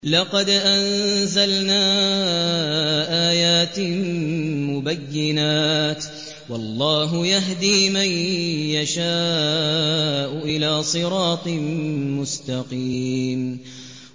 لَّقَدْ أَنزَلْنَا آيَاتٍ مُّبَيِّنَاتٍ ۚ وَاللَّهُ يَهْدِي مَن يَشَاءُ إِلَىٰ صِرَاطٍ مُّسْتَقِيمٍ